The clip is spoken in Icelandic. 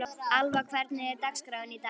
Alva, hvernig er dagskráin í dag?